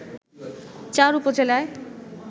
চার উপজেলায়